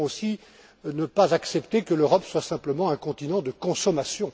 Nous devons aussi ne pas accepter que l'Europe soit simplement un continent de consommation.